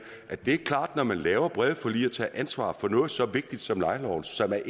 at det er klart når man laver brede forlig og tager ansvar for noget så vigtigt som lejeloven som er